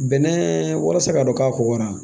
Bɛnɛ walasa ka don k'a kɔgɔra